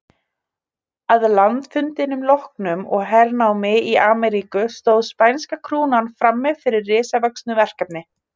Að landafundum loknum og hernámi í Ameríku stóð spænska krúnan frammi fyrir risavöxnu verkefni.